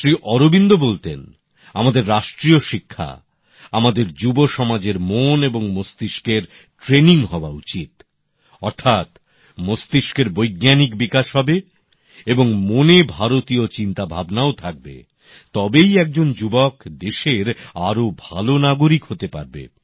শ্রী অরবিন্দ বলতেন আমাদের রাষ্ট্রীয় শিক্ষা আমাদের যুবসমাজের মন এবং মস্তিষ্কের প্রশিক্ষণ হওয়া উচিত অর্থাৎ মস্তিষ্কের বৈজ্ঞানিক বিকাশ হবে এবং মনে ভারতীয় চিন্তাভাবনাও থাকবে তবেই একজন যুবক দেশের আরও ভালো নাগরিক হতে পারবে